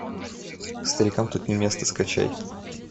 старикам тут не место скачай